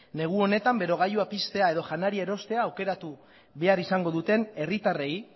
negu honetan berogailua piztea edo janaria erostea aukeratu behar izango duten herritarrei